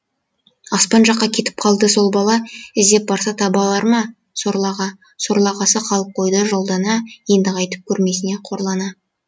аспан жаққа кетіп қалды сол бала іздеп барса таба алар ма сорлы аға сорлы ағасы қалып қойды жолда ана енді қайтып көрмесіне қорлана